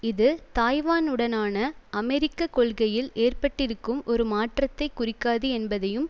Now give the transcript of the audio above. இது தாய்வானுடனான அமெரிக்க கொள்கையில் ஏற்பட்டிருக்கும் ஒரு மாற்றத்தை குறிக்காது என்பதையும்